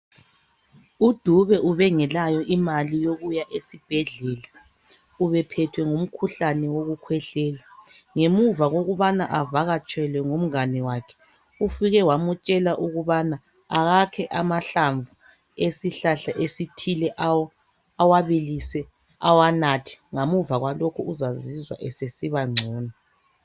UDube ubengelayo imali yokuya esibhedlela ubephethwe ngumkhuhlane wokukhwehlela. Ngemuva kokubana avakatshelwe ngumngane wakhe, ufike wamtshela ukubana akakhe amahlamvu esihlahla esithile, awabilise awanathe ngemuva kwalokho uzazizwa esesiba ngcono.